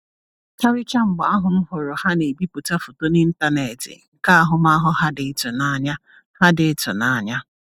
Karịchaa mgbe ahụ m hụrụ ha na-ebipụta foto n’ịntanetị nke ahụmahụ ha dị ịtụnanya. ha dị ịtụnanya.